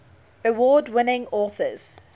award winning authors